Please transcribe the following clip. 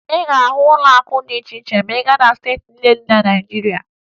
Ị ga-ahụ ụlọakụ dị iche iche ma ị gaa na steeti niile dị na Naịjirịa